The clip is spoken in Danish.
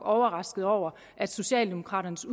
overrasket over at socialdemokraternes